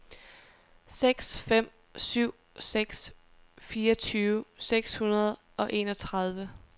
seks fem syv seks fireogtyve seks hundrede og enogtredive